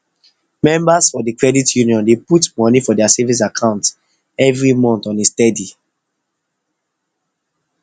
members for d credit union dey put money for their savings account every month on a steady